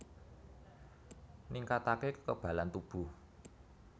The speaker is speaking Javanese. Ningkataké kekebalan tubuh